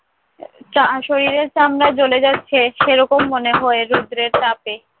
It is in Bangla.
চা~ শরীরের চামড়া জ্বলে যাচ্ছে সেরকম মনে হয় রৌদ্রের তাপে।